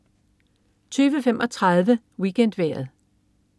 20.35 WeekendVejret